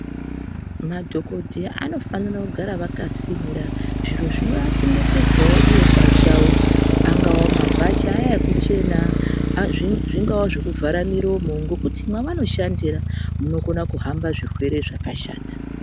Madhogodheya anofanira kugara akasimira zviro zvinoachengetedzwavo ivo pachavo angaa mabhachi aya ekuchena, zvingava zvekuvhara miromo, ngekuti mavano shandira munokona kuhamba zviro zvakashata.